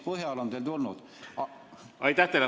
Aitäh teile!